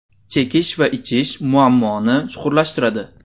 Chekish va ichish muammoni chuqurlashtiradi.